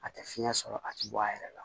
A tɛ fiɲɛ sɔrɔ a tɛ bɔ a yɛrɛ la